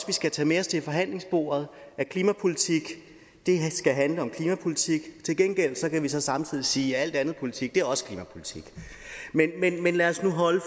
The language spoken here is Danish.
vi skal tage med os til forhandlingsbordet at klimapolitik skal handle om klimapolitik til gengæld kan vi så samtidig sige at al anden politik også er klimapolitik men lad os nu holde